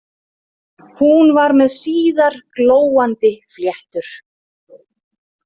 Hún var með síðar glóandi fléttur.